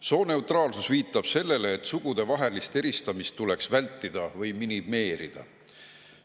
Sooneutraalsus viitab sellele, et sugudevahelist eristamist tuleks vältida või minimeerida.